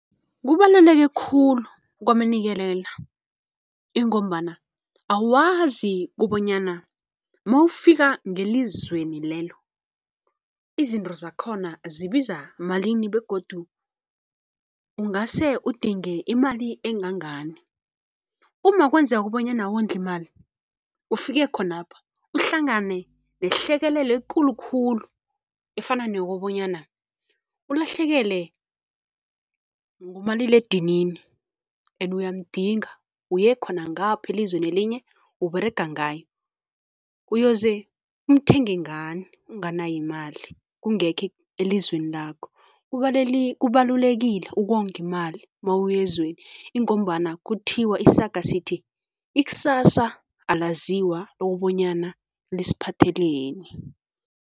Kubaluleke khulu, kwamanikelela, ingombana awazi kubonyana mawufika ngelizweni lelo izinto zakhona zibiza malini begodu ungase udinge imali engangani uma kwenzeka bonyana awondli imali, ufike khonapha uhlangane nehlekelele ekulu khulu efana neyokobonyana ulahlekelwe ngumaliledinini ene uyamdinga, uyekhona ngapho elizweni elinye, uberega ngayo, uyoze umthenge ngani unganayo imali, kungekho elizweni lakho? Kubalulekile ukonga imali mawuya ezweni ingombana kuthiwa, isaga sithi, ikusasa alaziwa okubonyana lisiphatheleni.